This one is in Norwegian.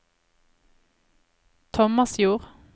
Tomasjord